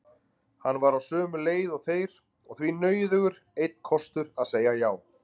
Hann var á sömu leið og þeir og því nauðugur einn kostur að segja já.